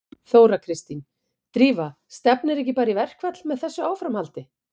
Þóra Kristín: Drífa stefnir ekki bara í verkfall með þessu áframhaldi?